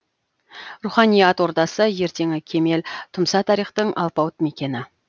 руханият ордасы ертеңі кемел тұмса тарихтың алпауыт мекені